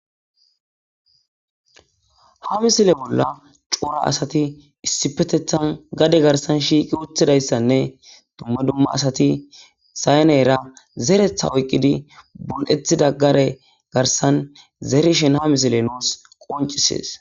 ha misile bolla cora asati issipetethan gade garsan shiiqi utthidayssanne dumma dumma asati sayneyra zeretha oyqqidi bul7ethida gare garsan zerishen ha misile nuus qoncisees